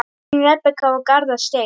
Þín, Rebekka og Garðar Steinn.